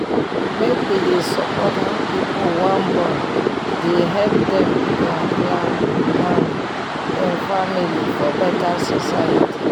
make wey dey support how pipu wan born dey help dem plan plan um dem family for beta society